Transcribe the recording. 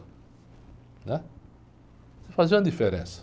né? Sei fazer uma diferença.